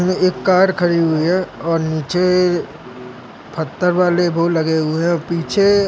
एक कार खड़ी हुई है और नीचे पत्थर वाले वो लगे हुए है। पीछे--